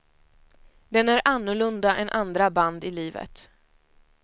Den är annorlunda än andra band i livet.